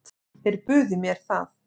Þeir buðu mér það.